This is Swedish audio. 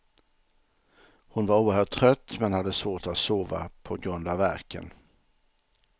Hon var oerhört trött men hade svårt att sova på grund av värken.